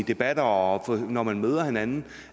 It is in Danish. debatter og når man møder hinanden